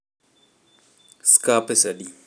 skar pesadi?